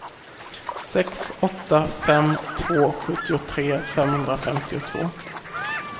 sex åtta fem två sjuttiotre femhundrafemtiotvå